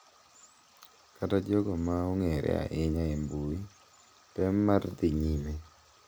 Kata jogo ma ong'ere ahinya e mbui, tem mar "dhi nyime"